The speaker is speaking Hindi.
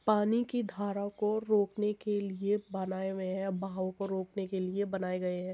पानी का धाराओं को रोकने के लिए बनाए हुये हैं बहाव को रोकने के लिए बनाए गए हैं।